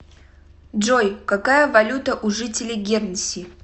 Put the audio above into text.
джой какая валюта у жителей гернси